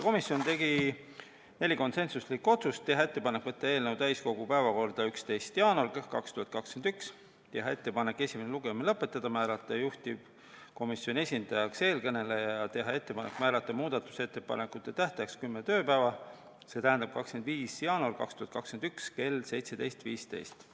Komisjon tegi neli konsensuslikku otsust: teha ettepanek võtta eelnõu täiskogu päevakorda 11. jaanuariks 2021, teha ettepanek esimene lugemine lõpetada, määrata juhtivkomisjoni esindajaks siinkõneleja, teha ettepanek määrata muudatusettepanekute tähtajaks kümme tööpäeva, st tähtpäev on 25. jaanuar 2021 kell 17.15.